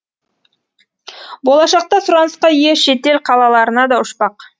болашақта сұранысқа ие шетел қалаларына да ұшпақ